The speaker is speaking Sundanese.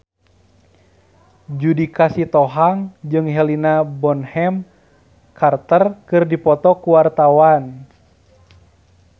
Judika Sitohang jeung Helena Bonham Carter keur dipoto ku wartawan